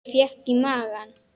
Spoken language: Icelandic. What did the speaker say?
Ég fékk í magann.